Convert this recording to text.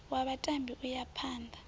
wa vhatambi u ya phana